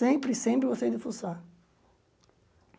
Sempre, sempre gostei de fuçar.